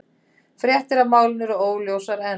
Fréttir af málinu eru óljósar enn